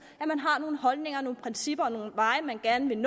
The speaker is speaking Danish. at man har nogle holdninger og principper og nogle veje man gerne vil